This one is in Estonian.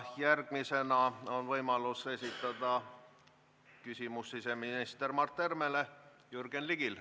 Järgmisena on võimalus esitada siseminister Mart Helmele küsimus Jürgen Ligil.